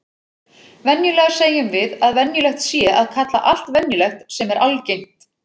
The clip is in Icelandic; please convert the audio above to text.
Venjulega segjum við að venjulegt sé að kalla allt venjulegt sem er algengt.